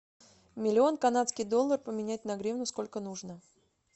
миллион канадский доллар поменять на гривну сколько нужно